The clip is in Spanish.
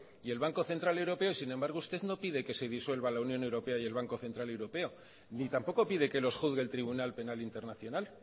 y el banco central europeo y sin embargo usted no pide que se disuelva la unión europea y el banco central europeo ni tampoco pide que los juzgue el tribunal penal internacional